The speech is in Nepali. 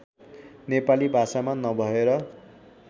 नेपाली भाषामा नभएर